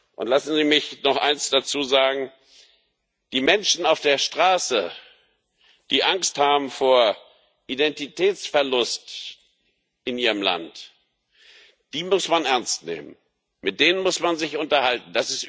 Und lassen Sie mich noch eins dazu sagen Die Menschen auf der Straße, die Angst haben vor Identitätsverlust in ihrem Land, die muss man ernst nehmen, mit denen muss man sich unterhalten.